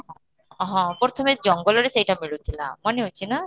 ହଁ, ହଁ, ପ୍ରଥମେ ଜଙ୍ଗଲରେ ସେଇଟା ମିଳୁ ଥିଲା ମନେ ଅଛି ନା